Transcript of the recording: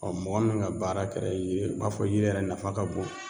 mɔgɔ min ŋa baara kɛrɛ i ye b'a fɔ yiri yɛrɛ nafa ka bon